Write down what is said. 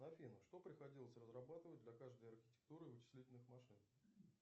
афина что приходилось разрабатывать для каждой архитектуры вычислительных машин